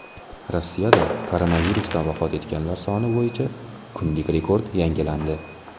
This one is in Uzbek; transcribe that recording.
Rossiyada koronavirusdan vafot etganlar soni bo‘yicha kunlik rekord yangilandi.